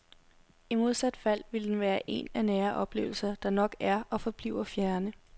I modsat fald vil den være en af nære oplevelser, der nok er og forbliver fjerne.